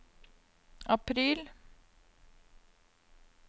april